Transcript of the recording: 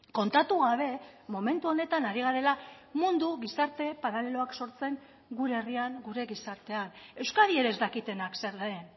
kontatu gabe momentu honetan ari garela mundu gizarte paraleloak sortzen gure herrian gure gizartean euskadi ere ez dakitenak zer den